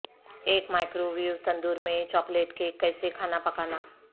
ایک مائکروویو تندور میں چاکلیٹ کیک کیسے کھانا پکانا